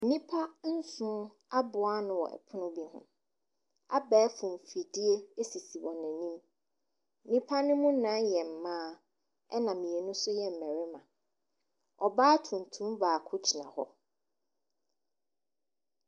Nnipa nson aboa ano wɔ pono bi ho. Abɛɛfo mfidie sisi wɔn anim. Nnipa no mu nnan yɛ mmaa, ɛnna mmienu nso yɛ mmarima. Ɔbaa tuntum baako gyina hɔ.